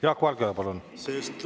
Jaak Valge, palun!